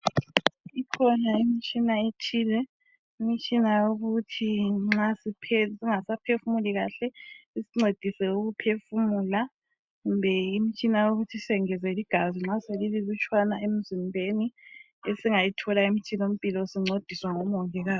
ikhona imitshina ethile imitshina yokuthi nxa singasa phefumuli kahle isincedise ukuphefumula kumbe imitshina yokuthi sengezele igazi nxaselililutshwana emzipheni esingayithola emthilampilosincediswa ngo mongikazi